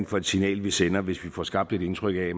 for et signal vi sender hvis vi får skabt et indtryk af